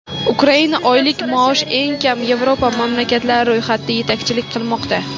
Ukraina oylik maosh eng kam Yevropa mamlakatlari ro‘yxatida yetakchilik qilmoqda.